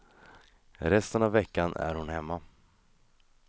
Resten av veckan är hon hemma.